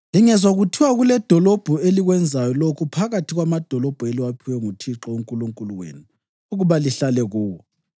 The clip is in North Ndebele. Lingezwa kuthiwa kuledolobho elikwenzayo lokhu phakathi kwamadolobho eliwaphiwe nguThixo uNkulunkulu wenu ukuba lihlale kuwo